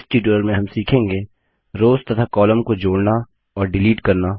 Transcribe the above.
इस ट्यूटोरियल में हम सीखेंगे रोव्स तथा कॉलम को जोड़ना और डिलीट करना